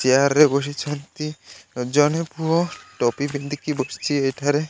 Chair ରେ ବସିଛନ୍ତି ଜଣେ ପୁଅ ଟପି ପିନ୍ଧିକି ବସିଛି ଏଇଠାରେ।